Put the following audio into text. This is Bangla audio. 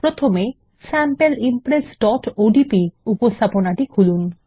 প্রথমে sample impressওডিপি উপস্থাপনাটি খুলুন